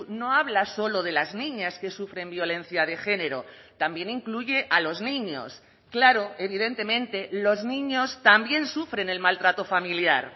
no habla solo de las niñas que sufren violencia de género también incluye a los niños claro evidentemente los niños también sufren el maltrato familiar